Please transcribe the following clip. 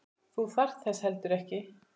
Þú þarft þess heldur ekki.